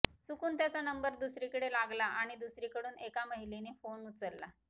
चुकून त्याचा नंबर दुसरीकडे लागला आणि दुसरीकडून एका महिलेने फोन उचलला